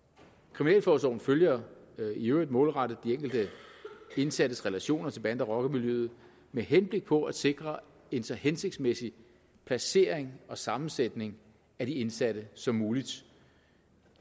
kriminalforsorgen følger i øvrigt målrettet de enkelte indsattes relationer til bande og rockermiljøet med henblik på at sikre en så hensigtsmæssig placering og sammensætning af de indsatte som muligt